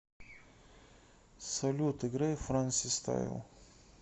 салют играй франсистайл